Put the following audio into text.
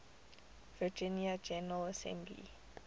virginia general assembly